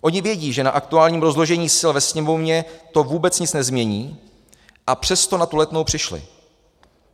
Oni vědí, že na aktuálním rozložení sil ve Sněmovně to vůbec nic nezmění, a přesto na tu Letnou přišli.